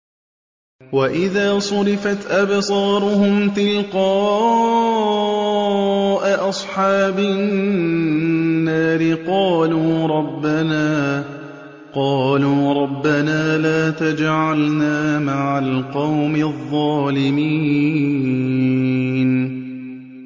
۞ وَإِذَا صُرِفَتْ أَبْصَارُهُمْ تِلْقَاءَ أَصْحَابِ النَّارِ قَالُوا رَبَّنَا لَا تَجْعَلْنَا مَعَ الْقَوْمِ الظَّالِمِينَ